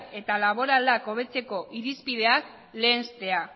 eta laboral hobetzeko irizpideak lehenstea